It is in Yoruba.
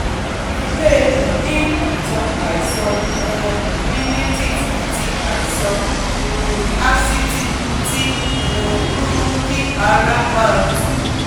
ìdílé rẹ̀ ní ìtàn àìsàn um rhinitis àti àìsàn um asítì tí um ń mú kí ara máa tú